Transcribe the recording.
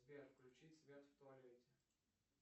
сбер включить свет в туалете